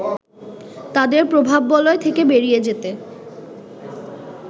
তাদের প্রভাববলয় থেকে বেরিয়ে যেতে